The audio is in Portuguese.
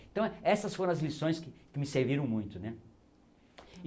Então, essas foram as lições que me serviram muito, né?